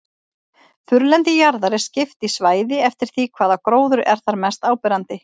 Þurrlendi jarðar er skipt í svæði eftir því hvaða gróður er þar mest áberandi.